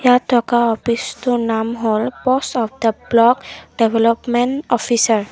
ইয়াত থকা অ'ফিচটোৰ নাম হ'ল post of the block development officer.